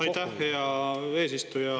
Aitäh, hea eesistuja!